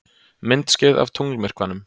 Myndskeið af tunglmyrkvanum